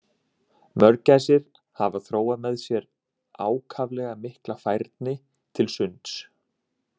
Mörgæsir hafa þróað með sér ákaflega mikla færni til sunds.